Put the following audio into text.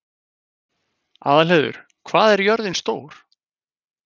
Aðalheiður, hvað er jörðin stór?